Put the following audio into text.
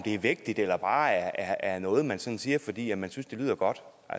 er vægtigt eller bare er noget man sådan siger fordi man synes det lyder godt